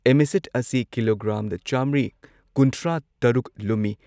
ꯏꯃꯤꯁꯦꯠ ꯑꯁꯤ ꯀꯤꯂꯣꯒ꯭ꯔꯥꯝ ꯆꯥꯃ꯭ꯔꯤ ꯀꯨꯟꯊ꯭ꯔꯥ ꯇꯔꯨꯛ ꯂꯨꯝꯃꯤ ꯫